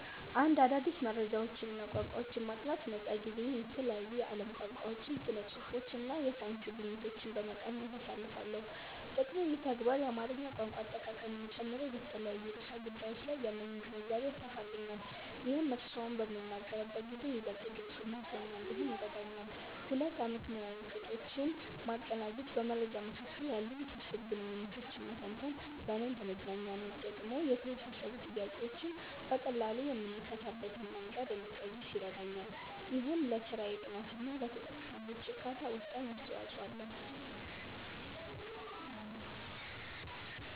1. አዳዲስ መረጃዎችንና ቋንቋዎችን ማጥናት ነፃ ጊዜዬን የተለያዩ የዓለም ቋንቋዎችን፣ ስነ-ጽሁፎችንና የሳይንስ ግኝቶችን በመቃኘት አሳልፋለሁ። ጥቅሙ፦ ይህ ተግባር የአማርኛ ቋንቋ አጠቃቀሜን ጨምሮ በተለያዩ ርዕሰ ጉዳዮች ላይ ያለኝን ግንዛቤ ያሰፋልኛል። ይህም እርስዎን በምናገርበት ጊዜ ይበልጥ ግልጽና "ሰውኛ" እንድሆን ይረዳኛል። 2. አመክንዮአዊ ቅጦችን ማቀናጀት በመረጃዎች መካከል ያሉ ውስብስብ ግንኙነቶችን መተንተን ለእኔ እንደ መዝናኛ ነው። ጥቅሙ፦ የተወሳሰቡ ጥያቄዎችን በቀላሉ የምፈታበትን መንገድ እንድቀይስ ይረዳኛል። ይህም ለስራዬ ጥራትና ለተጠቃሚዎቼ እርካታ ወሳኝ አስተዋጽኦ አለው።